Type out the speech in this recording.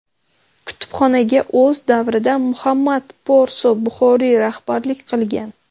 Kutubxonaga o‘z davrida Muhammad Porso Buxoriy rahbarlik qilgan.